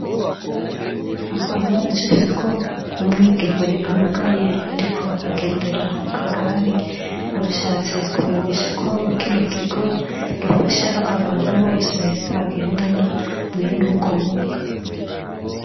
Aha baracafyeko umwigeme amugaye ariko agendera mu kagari, bashatse kumenyesha ko kino kigo gifasha abantu bose bagendana mwene ubwo bumuga.